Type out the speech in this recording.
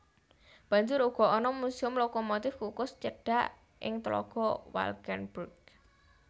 Banjur uga ana muséum lokomotif kukus cedhak ing tlaga Valkenburg